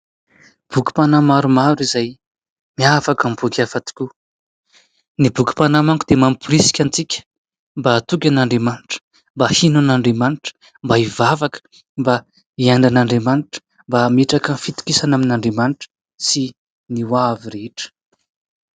Bokim-panahy maromaro izay miavaka amin'ny boky hafa tokoa, ny bokim-panahy manko dia mamporisika antsika mba hatoky an'Andriamanitra, mba hino an'Andriamanitra, mba hivavaka, mba hiaino an'Andriamanitra, mba hametraka ny fitokisana amin'Andriamanitra sy ny hoavy rehetra.